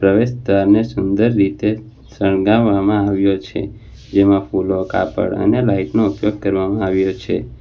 પ્રવેશદ્વારને સુંદર રીતે શણગાવામાં આવ્યો છે જેમા ફૂલો કાપડ અને લાઇટ નો ઉપયોગ કરવામાં આવ્યો છે.